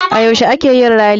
A yaushe a keyin rally?